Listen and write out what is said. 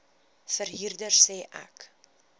verhuurder sê ek